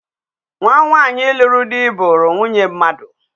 Nwa nwanyị lụrụ dị buru nwunye mmadụ.